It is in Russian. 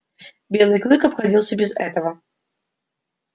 белый клык обходился без этого